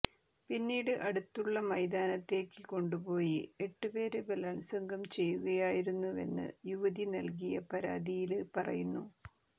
പിന്നീട് അടുത്തുള്ള മൈതാനത്തേക്ക് കൊണ്ടു പോയി എട്ടുപേര് ബലാല്സംഗം ചെയ്യുകയായിരുന്നുവെന്ന് യുവതി നല്കിയ പരാതിയില് പറയുന്നു